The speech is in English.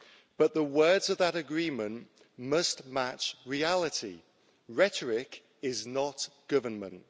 But the words of that agreement must match reality rhetoric is not government.